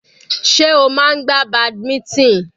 Sé o máa ń gbá badminton?